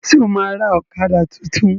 Ṣo ma ra ọ̀kadà tuntun?